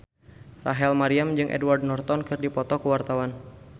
Rachel Maryam jeung Edward Norton keur dipoto ku wartawan